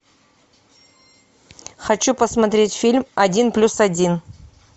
хочу посмотреть фильм один плюс один